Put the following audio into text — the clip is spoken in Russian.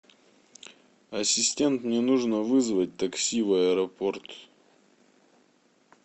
ассистент мне нужно вызвать такси в аэропорт